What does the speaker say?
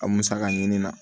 A musaka ɲini na